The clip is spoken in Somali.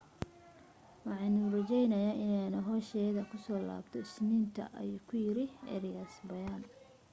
waxaanu rajaynayaa inaanu hawshayda kusoo laabto isniinta ayuu ku yiray arias bayaan